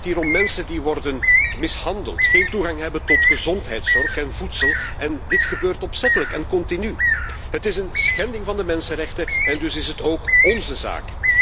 Het gaat om mensen die worden mishandeld, geen toegang hebben tot gezondheidszorg en voedsel. Dit alles gebeurt opzettelijk en continu. Het is een schending van de mensenrechten en dus is het ook ónze zaak.